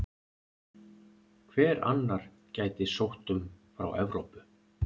Hver annar gæti sótt um frá Evrópu?